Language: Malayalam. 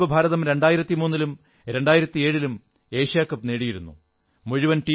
ഇതിനുമുമ്പ് ഭാരതം 2003 ലും 2007ലും ഏഷ്യാ കപ്പ് നേടിയിരുന്നു